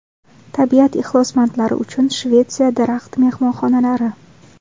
Tabiat ixlosmandlari uchun Shvetsiya daraxt-mehmonxonalari .